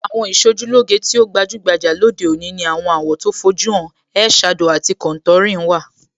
Àwọn Ìṣojúlóge tí ó gbajúgbajà lóde òní ní àwọn àwọ̀ tó fojú hàn,ẹ ẹ̀ shadow àti contouring. wà.